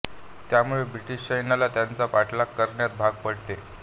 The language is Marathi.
त्यामुळे ब्रिटीश सैन्याला त्यांचा पाठलाग करण्यात भाग पडते